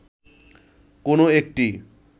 কোন একটি